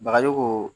Bagaji ko